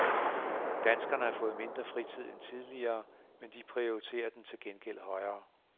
Danskerne har fået mindre fritid end tidligere, men de prioriterer den til gengæld højere.